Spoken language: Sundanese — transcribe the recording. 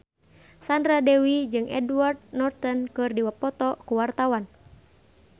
Sandra Dewi jeung Edward Norton keur dipoto ku wartawan